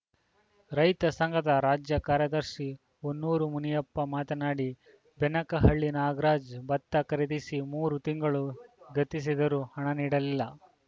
ರೈತ ಸಂಘದ ರಾಜ್ಯ ಕಾರ್ಯದರ್ಶಿ ಹೊನ್ನೂರು ಮುನಿಯಪ್ಪ ಮಾತನಾಡಿ ಬೆನಕಹಳ್ಳಿ ನಾಗರಾಜ್‌ ಭತ್ತ ಖರೀದಿಸಿ ಮೂರು ತಿಂಗಳು ಗತಿಸಿದರೂ ಹಣ ನೀಡಿಲ್ಲ